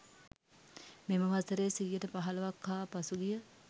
මෙම වසරේ 15%ක් හා පසුගිය...